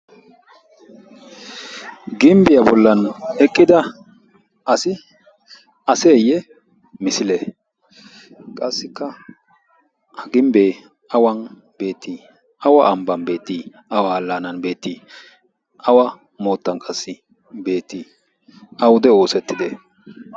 Gimbbiya bollan eqqida asi aseeyyee misilee? Qassikka ha gimbbee awan beettii? Awa ambban beettii? Awa allaanan beettii? Awa moottan qassi beettii? Awude oosettidee?